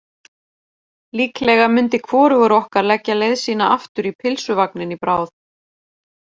Líklega myndi hvorugur okkar leggja leið sína aftur í pylsuvagninn í bráð.